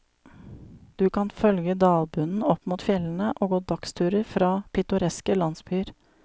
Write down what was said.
Du kan følge dalbunnen opp mot fjellene og gå dagsturer fra pittoreske landsbyer.